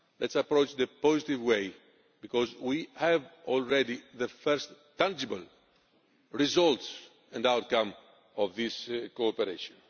Let us approach this in a positive way, because we have already the first tangible results and outcome of this cooperation.